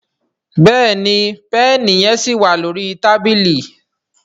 Béèni Pẹ́ẹ̀nì yen sí wá lórí tábìlì.